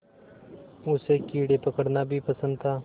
उसे कीड़े पकड़ना भी पसंद था